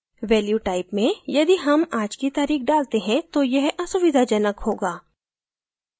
value type में यदि हम आज की तारीख डालते हैं तो यह असुविधाजनक होगा